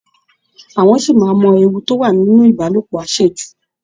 Àwọn ṣì máa mọ ewu tó wà nínú Ìbálòpọ̀ àṣejù